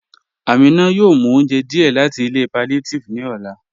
Aminà yóò mú ọ̀unjẹ́ díẹ̀ láti ilẹ̀ palliative ni ọlá."